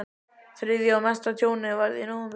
Þriðja og mesta tjónið varð í nóvember.